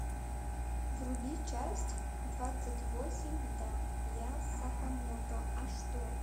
вруби часть двадцать восемь да я сакамото а что